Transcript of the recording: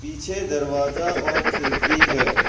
पीछे दरवाजा और खिड़की है।